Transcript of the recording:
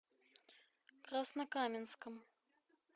краснокаменском